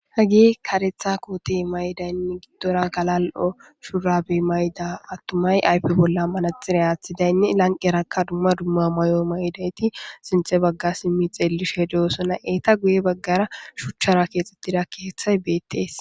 hagi karetha kootey maydaynne giddora galal7o shuurabe mayda attumay ayfe bolla manaxire aaththidaynne lanqerakka dumma dumma may7o may7idayti sinthe bagga simmi xeellishe doosona eeta guye baggara shuchchara keexxettidakki heththay beettees